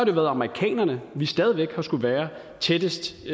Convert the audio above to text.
været amerikanerne vi stadig væk har skullet være tættest